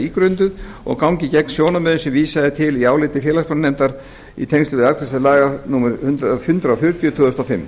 ígrunduð og gangi gegn sjónarmiðum sem vísað er til í áliti félagsmálanefndar í tengslum við afgreiðslu laga númer hundrað fjörutíu tvö þúsund og fimm